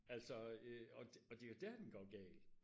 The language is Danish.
altså øh og det er jo der den går galt